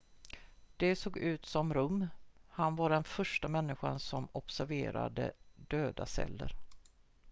de såg ut som rum han var den första människan som observerade döda celler